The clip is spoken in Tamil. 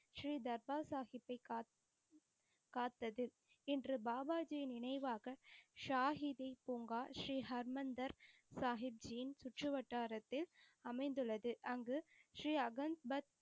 ஸ்ரீ தர்பார் சாஹிபை காத்தது. இன்று பாபா ஜி யை நினைவாக ஷாஹிதி பூங்கா ஸ்ரீ ஹர்மந்தர் சாஹிப் ஜியின் சுற்று வட்டாரத்தில் அமைந்துள்ளது. அங்கு ஸ்ரீ அகல்த்க்த்,